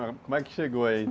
Ãh, como é que chegou aí?